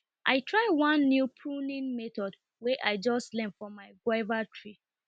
i try one new pruning method wey i just learn for my guava trees